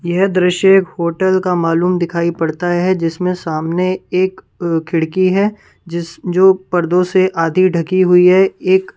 ये दृश्य होटल का मालूम दिखाई पड़ता है जिसमें सामने एक अ खिड़की है जिस जो पर्दों से आधी ढकी हुई है एक--